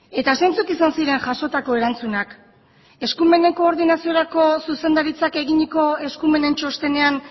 eta zeintzuk izan ziren jasotako erantzunak eskumenen koordinaziorako zuzendaritzak eginiko eskumenen txostenean